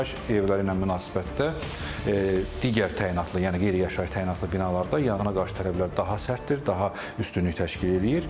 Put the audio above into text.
Yaşayış evləri ilə münasibətdə digər təyinatlı, yəni qeyri-yaşayış təyinatlı binalarda yanğına qarşı tələblər daha sərtdir, daha üstünlük təşkil edir.